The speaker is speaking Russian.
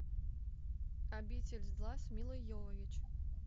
обитель зла с милой йовович